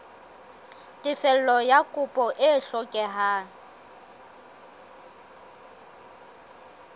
tefello ya kopo e hlokehang